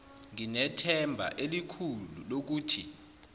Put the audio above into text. nginethemba elikhulu lokuthi